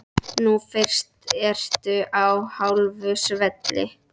Nú fyrst ertu á hálu svelli.